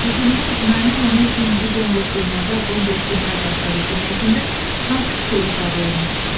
O gündən Nayman ana üçün bu bomboş dünyada bomboş günlər başladı cümləsində hansı fikir ifadə olunub?